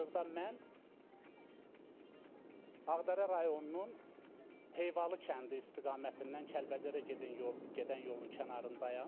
Hazırda mən Ağdərə rayonunun Heyvalı kəndi istiqamətindən Kəlbəcərə gedən yol gedən yolun kənarındayam.